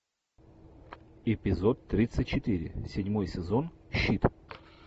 эпизод тридцать четыре седьмой сезон щит